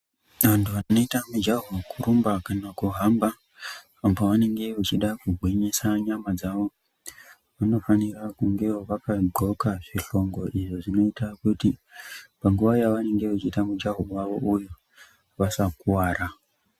Antu anoita mujaho wekurumba kana kuhamba antu anenge eida kugwinyisa nyama dzawo vanofanira kunge vakadxoka zvihlongo izvo zvinoita kuti panguva yavanenge vechiita mujaho wavo uyu vasakuwara.